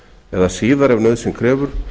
eða síðar ef nauðsyn krefur